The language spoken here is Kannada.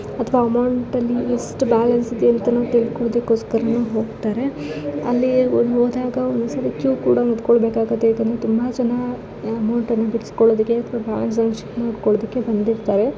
ಅಥವಾ ಅಮೌಂಟ್ ಅಲ್ಲಿ ಎಷ್ಟು ಬ್ಲ್ಯಾನ್ಸ್ ಇದೆ ಅಂತನು ತಿಳುಕುಳುದ್ದಕುಸ್ಕರನು ಹೂಗತಾರೆ. ಅಲ್ಲಿ ಹೋದಾಗ ಒಂದುದ್ಸಲ ಕಿಯೂ ಕೂಡ ನಿಂತ್ಕೊಳಬೇಕಾಗುತ್ತೆ. ಯಾಕಂದ್ರೆ ತುಂಬ ಜನ ಅಮೌಂಟ್ ಅನ್ನ ಬಿಡೂಸ್ಕೂಳುದಕ್ಕೆ ಬಂದಿರ್ತಾರೆ .